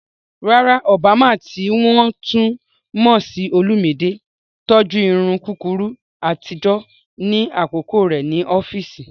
Rárá, Obama, tí wọ́n tún mọ̀ sí Olumide, tọ́jú irun kúkúrú àtijọ́ ní àkókò rẹ̀ ní ọ́fíìsì.